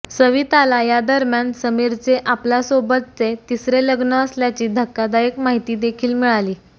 सविताला या दरम्यान समीरचे आपल्यासोबतचे तिसरे लग्न असल्याची धक्कादायक माहिती देखील मिळाली